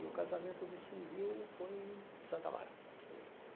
E o casamento do civil foi em Santo Amaro.